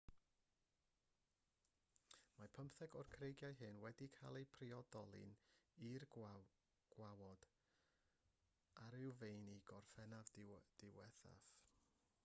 mae pymtheg o'r creigiau hyn wedi cael eu priodoli i'r gawod awyrfeini gorffennaf diwethaf